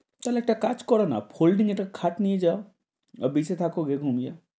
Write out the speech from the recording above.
তাহলে একটা কাজ করো না, folding এর একটা খাট নিয়ে যাও। beach এ থাক গে ঘুমিয়ে,